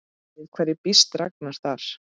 Við hverju býst Ragnar þar?